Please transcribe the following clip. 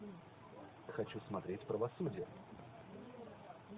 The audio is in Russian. хочу смотреть правосудие